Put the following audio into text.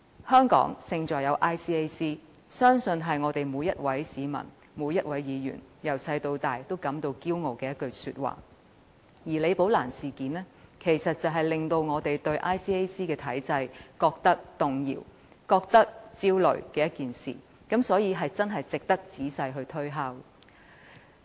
"香港勝在有 ICAC"， 相信是每一位市民、議員從小到大都感到自豪的一句話，而李寶蘭事件卻令我們對 ICAC 的體制感到動搖、焦慮，所以真的值得我們仔細推敲。